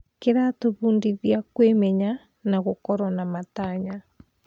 Kĩratũbundithia kwĩmenya na gũkorwo na matanya.